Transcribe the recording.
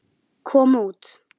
kom út.